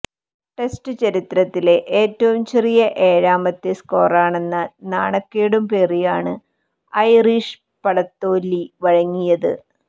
test ചരിത്രത്തിലെ ഏറ്റവും ചെറിയ ഏഴാമത്തെ സ്കോറെന്ന നാണക്കേടും പേറിയാണ് ഐറിഷ് പട തോല്വി വഴങ്ങിയത്